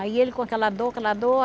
Aí ele com aquela dor, aquela dor.